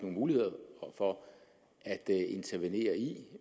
mulighed for at intervenere i